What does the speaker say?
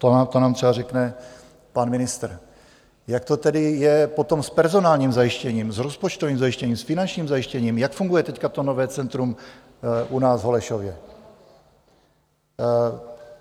To nám třeba řekne pan ministr, jak to tedy je potom s personálním zajištěním, s rozpočtovým zajištěním, s finančním zajištěním, jak funguje teď to nové centrum u nás v Holešově?